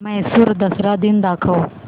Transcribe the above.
म्हैसूर दसरा दिन दाखव